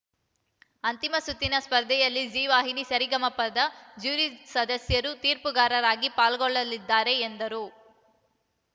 ಅಂತಿಮ ಸುತ್ತಿನ ಸ್ಪರ್ಧೆಯಲ್ಲಿ ಝೀವಾಹಿನಿಯ ಸರಿಗಮಪದ ಜ್ಯೂರಿ ಸದಸ್ಯರು ತೀರ್ಪುಗಾರರಾಗಿ ಪಾಲ್ಗೊಳ್ಳಲಿದ್ದಾರೆ ಎಂದರು